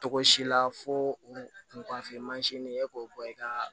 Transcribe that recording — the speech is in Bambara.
Togo si la fo u kunnafoni mansin ɲini e k'o bɔ i ka